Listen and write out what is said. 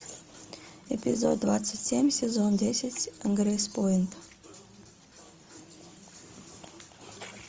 эпизод двадцать семь сезон десять грейспойнт